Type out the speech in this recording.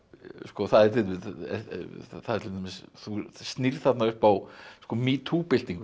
það er það er til dæmis þú snýrð þarna upp á metoo byltinguna